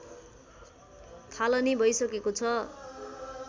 थालनी भइसकेको छ